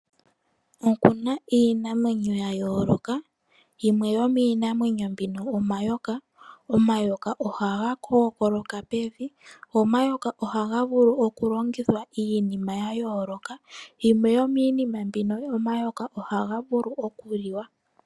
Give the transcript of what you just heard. Okuna iinamwenyo yayooloka yimwe yomiinamwenyo mbino omayoka, omayoka ohaga kookoloka pevi go omayoka ohaga vulu okulongithwa iinima yayooloka, yimwe yomiinima mbino omayoka ohaga vulu okuliwa.